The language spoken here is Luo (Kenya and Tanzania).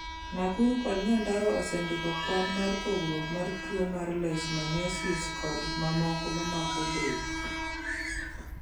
Nakuru kod Nyandarua osendiko kwan mar pogruok mar tuo mar leishmaniasis kod mamoko mamako del.